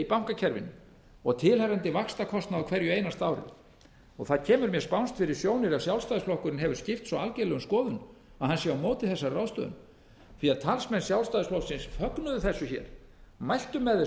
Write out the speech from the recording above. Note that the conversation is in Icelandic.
bankakerfinu og tilheyrandi vaxtakostnað á hverju einasta ári það kemur mér spánskt fyrir sjónir ef sjálfstæðisflokkurinn hefur skipt svo algjörlega um skoðun að hann sé á móti þessari ráðstöfun því talsmenn sjálfstæðisflokksins fögnuðu þessu hér mæltu með